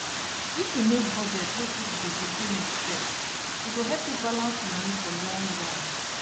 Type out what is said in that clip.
if you make budget wey put gbese payment first e go help you balance money for long run